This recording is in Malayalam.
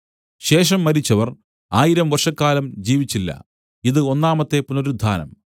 ശേഷം മരിച്ചവർ ആയിരം വർഷക്കാലം ജീവിച്ചില്ല ഇതു ഒന്നാമത്തെ പുനരുത്ഥാനം